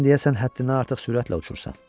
Sən deyəsən həddindən artıq sürətlə uçursan.